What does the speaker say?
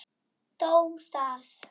Þó það.